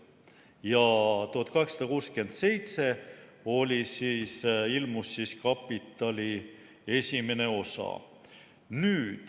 Ja 1867 ilmus "Kapitali" esimene osa.